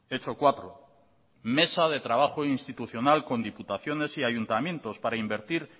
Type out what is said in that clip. hecho cuatro mesa de trabajo institucional con diputaciones y ayuntamientos para invertir